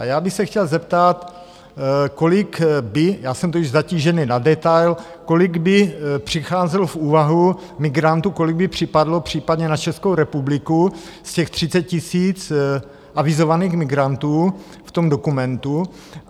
A já bych se chtěl zeptat, kolik by, já jsem totiž zatížený na detail, kolik by přicházelo v úvahu migrantů, kolik by připadlo případně na Českou republiku z těch 30 000 avizovaných migrantů v tom dokumentu?